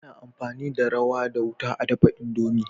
Ana amfani da rawa da wuta a dafa indomie